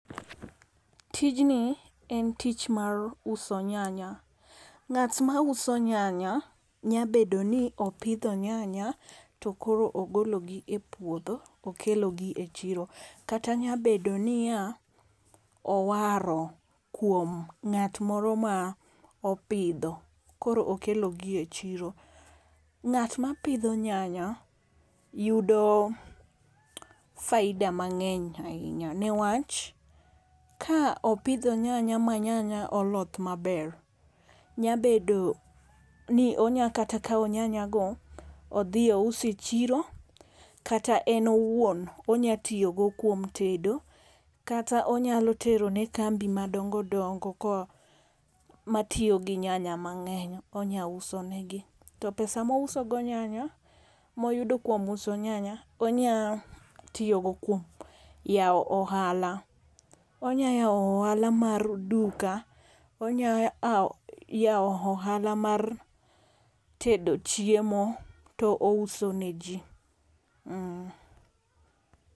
Tijni en tich mar uso nyanya. Ng'at ma uso nyanya nyabedo ni opidho nyanya to koro ogologi e puodho. Okelo gi e chiro. Kata nyabedo niya, owaro kuom ng'at moro ma opidho koro okelo gi e chiro. Ng'at ma pidho nyanya yudo faida mang'eny ahinya ne wach ka opidho nyanya ma nyanya oloth maber nyabedo ni onya kata kaw nyanya go odhi ousi e chiro kata en owuon onya tiyogo kuom tedo kata onyalo tero ne kambi madongo dongo matiyo gi nyanya mang'eny. Onya usonegi. To pesa ma ouso go nyanya ma oyudo kuom uso nyanya onya tiyogo kuom yaw ohala. Onya yaw ohala mar duka onya, yaw ohala mar tedo chiemo to ouso ne ji.